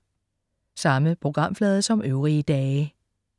Samme programflade som øvrige dage